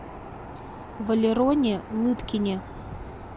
валероне лыткине